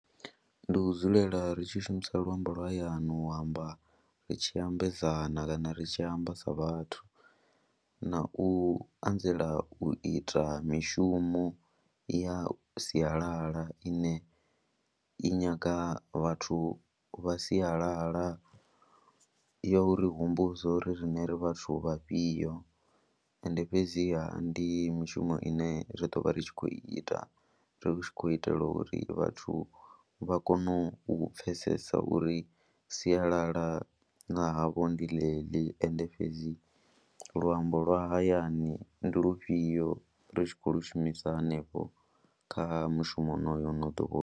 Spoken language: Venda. Ndi u dzulela ri tshi shumisa luambo lwa hayani u amba ri tshi ambedzana kana ri tshi amba sa vhathu, na u anzela u ita mishumo ya sialala ine i nyaga vhathu vha sialala ya uri humbudza uri riṋe ri vhathu vha fhio ende fhedziha ndi mishumo ine zwi ḓo vha ri tshi khou ita ri tshi khou itela uri vhathu vha kone u pfhesesa uri sialala ḽa havho ndi ḽeḽi ende fhedzi luambo lwa hayani ndi lufhio, ri tshi khou lu shumisa hanefho kha mushumo honoyo ane a ḓo vha.